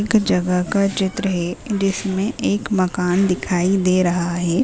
एक जगह का चित्र है जिसमे एक मकान दिखाई दे रहा है।